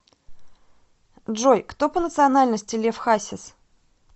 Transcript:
джой кто по национальности лев хасис